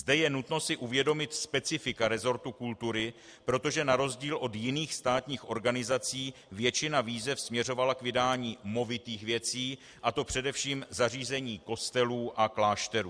Zde je nutno si uvědomit specifika resortu kultury, protože na rozdíl od jiných státních organizací většina výzev směřovala k vydání movitých věcí, a to především zařízení kostelů a klášterů.